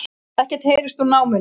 Ekkert heyrst úr námunni